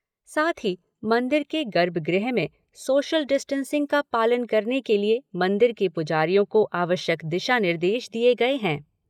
साथ ही मंदिर के गर्भगृह में सोशल डिस्टेंसिंग का पालन करने के लिए मंदिर के पुजारियों को आवश्यक दिशा निर्देश दिए गए हैं।